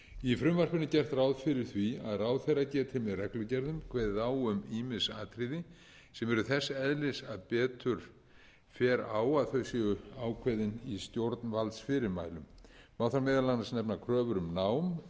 í frumvarpinu er gert ráð fyrir því að ráðherra geti með reglugerðum kveðið á um ýmis atriði sem eru þess eðlis að betur fer á að þau séu ákveðin í stjórnvaldsfyrirmælum má þar meðal annars nefna kröfur um